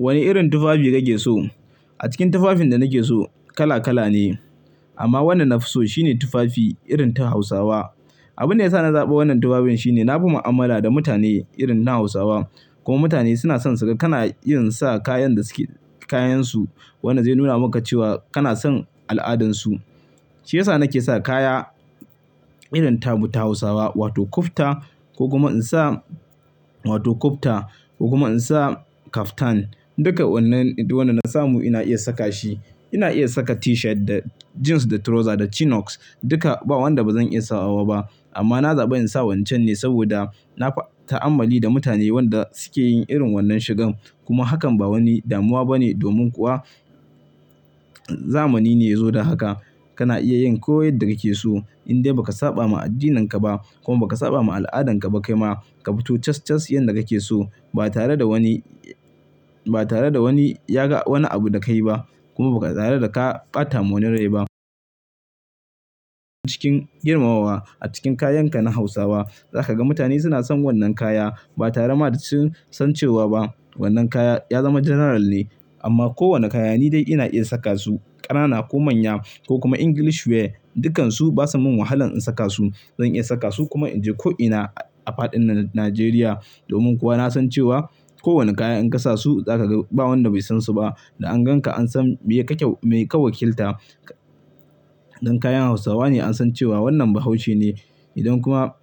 Wane irin tufafi kake so? A cikin tufafin da nake so, kala kala ne. Amma wannan nafi so shine tufafi irin ta Hausawa. Abin da ya sa na zaɓi wannan tufafin shine na fi mu'amala da mutane irin na Hausawa. Kuma mutane suna son saka, kana iya sa kayan da suke kayansu. Wannan zai nuna maka cewa kana son al'adarsu. Shi ya sa nake sa kaya irin ta mu ta Hausawa wato kufita ko kuma insa wato kufita ko kuma in sa kaftan. Duka wannan, duka wannan na samu ina iya saka shi. Ina iya saka T-shirt da jeans da trouser da Chinox duka ba wanda bazan iya sawa ba. Amma na zaɓi in sa wancan ne saboda na fa ta'ammali da mutane wanda suke yin irin wannan shigan. Kuma hakan ba wani damuwa bane domin kuwa zamani ne ya zo da haka. Kana iya yin ko yadda kake so in dai baka saba ma addininka ba kuma baka saba ma al'adanka ba kai ma. Ka fito cas cas yanda kake so ba tare da wani, ba tare da wani yaga wani abu dakai ba kuma ba tare da ka ƙa ɓata wa wani rai ba. Cikin girmamawa a cikin kayanka na Hausawa. Zaka ga mutane suna son wannan kaya ba tare da sun san cewa ba wannan kaya ya zama general ne. Amma kowane kaya ni dai ina iya saka su, ƙanana ko manya ko kuma English wear. Dukansu basa min wahala in saka su. Zan iya saka su kuma in je ko ina a faɗin Nijeriya. Domin kuwa na san cewa kowane kaya in kasa su zaka ga ba wanda bai san su ba. Da an ganka an san me kake, me ka wakilta. Don kayan Hausawa ne an san cewa wannan Bahaushe ne. Idan kuma,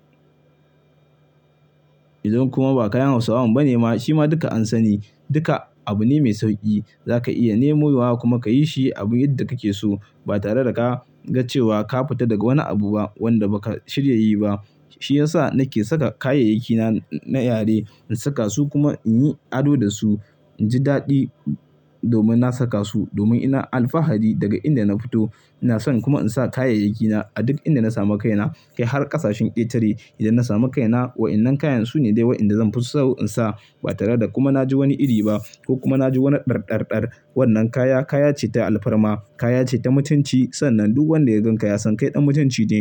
idan kuma ba kayan Hausawan bane ma, shi ma duka an sani. Duka abu ne mai sauƙi. Zaka iya nemu wa kuma ka yi shi abun yadda kake so ba tare da ka ga cewa ka fita daga wani abu ba wanda baka shirya yi ba. Shi ya sa nake saka kayayyakina na yare in saka su kuma in yi ado da su. In ji daɗi domin na saka su, domin ina alfahari daga inda na fito. Ina son kuma in sa kayayyakina a duk inda na samu kaina kai har ƙasashen ketare idan na samu kaina. Wa'innan kayan su ne dai wa'indan zan fi so in sa ba tare da kuma na ji wani iri ba ko kuma na ji wani ɗarɗarɗar. Wannan kaya kaya ce ta alfarma, kaya ce ta mutunci. Sannan duk wanda ya ganka ya san kai ɗan mutunci ne.